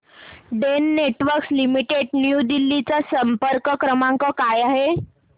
Den Networks Limited New Delhi चा संपर्क क्रमांक काय आहे